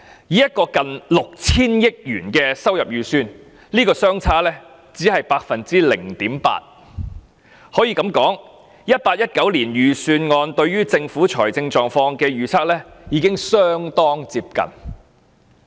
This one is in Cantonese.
以一個近 6,000 億元的收入預算而言，這個差別只是 0.8%...... 可以這樣說 ，2018-2019 年度預算案對政府財政狀況的預測已相當接近。